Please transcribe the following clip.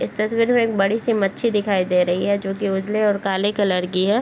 इस तस्वीर में एक बड़ी सी मच्छी दिखाई दे रही है जो की उजले और काले कलर की है।